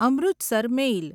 Amritsar મેલ